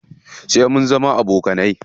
Sai mun zama abokanai.